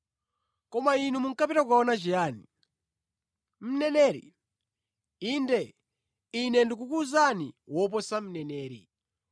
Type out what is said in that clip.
Koma inu munkapita kukaona chiyani? Mneneri? Inde, Ine ndikukuwuzani, woposa mneneri.